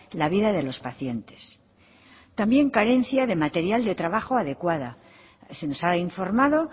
la vida de los pacientes también carencia de material de trabajo adecuado se nos ha informado